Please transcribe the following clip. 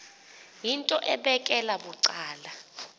yinto ebekela bucala